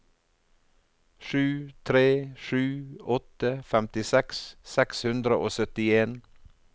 sju tre sju åtte femtiseks seks hundre og syttien